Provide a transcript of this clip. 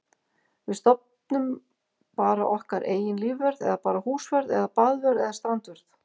Við stofnum bara okkar eigin lífvörð eða bara húsvörð eða baðvörð eða strandvörð.